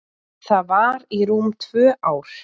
Það var í rúm tvö ár.